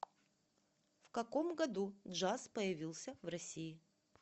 в каком году джаз появился в россии